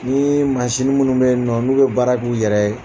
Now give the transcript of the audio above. N ko masini minnu bɛ yen nɔ n'u bɛ baara k'u yɛrɛ ye